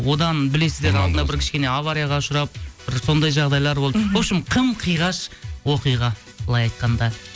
одан білесіздер алдында бір кішкене аварияға ұшырап бір сондай жағдайлар болды вообщем қым қиғаш оқиға былай айтқанда